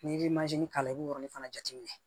N'i ye k'a la i b'o yɔrɔ fana jateminɛ